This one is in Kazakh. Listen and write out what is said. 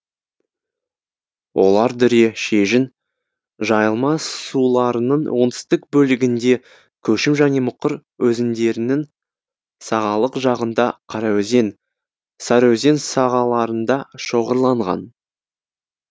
олар дүре шежін жайылма суларының оңтүстік бөлігінде көшім және мұқыр өзендерінің сағалық жағында қараөзен сарыөзен сағаларында шоғырланған